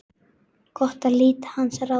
Gott að hlíta hans ráðum.